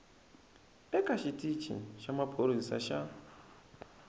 eka xitici xa maphorisa xa